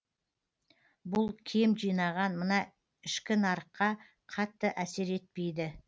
бұл кем жинаған мына ішкі нарыққа қатты әсер етпейді